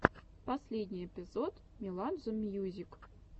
последний эпизод меладзе мьюзик